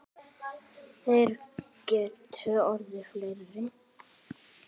Þeir gætu orðið fleiri.